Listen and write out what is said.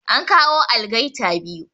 An kawo algaita biyu